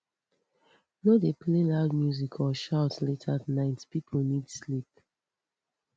no dey play loud music or shout late at night people need sleep